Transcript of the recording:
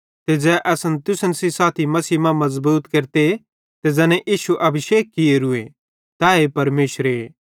ते ज़ै असन तुसन सेइं साथी मसीह मां मज़बूत केरते ते ज़ैने इश्शू अभिषेक कियोरूए तैए परमेशरे